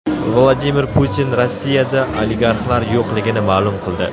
Vladimir Putin Rossiyada oligarxlar yo‘qligini ma’lum qildi.